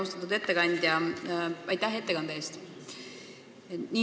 Austatud ettekandja, aitäh ettekande eest!